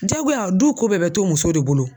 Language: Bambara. Jagoya du ko bɛɛ bɛ to musow de bolo.